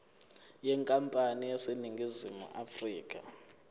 yenkampani eseningizimu afrika